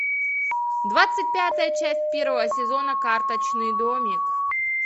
двадцать пятая часть первого сезона карточный домик